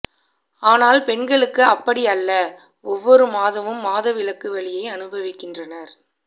ஆனால் பெண்களுக்கு அப்படி அல்ல ஒவ்வொரு மாதமும் மாதவிலக்கு வலியை அனுபவிக்கின்றனர்